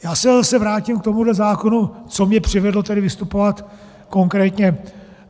Já se zase vrátím k tomu zákonu, co mě přivedlo tedy vystupovat konkrétně.